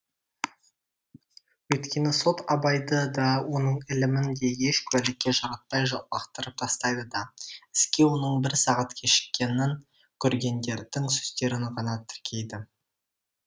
өйткені сот абайды да оның ілімін де еш куәлікке жаратпай лақтырып тастайды да іске оның бір сағат кешіккенін көргендердің сөздерін ғана тіркейді